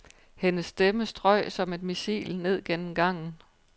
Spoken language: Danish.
Hendes stemme strøg som et missil ned gennem gangen.